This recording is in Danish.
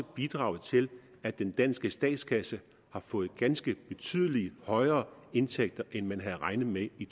bidraget til at den danske statskasse har fået ganske betydelig højere indtægter end man havde regnet med i